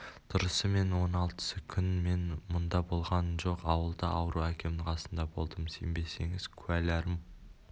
дұрысы сол он алтысы күн мен мұнда болғам жоқ ауылда ауру әкемнің қасында болдым сенбесеңіз куәларым